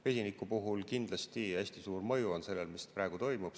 Vesiniku puhul on kindlasti hästi suur mõju sellel, mis praegu toimub.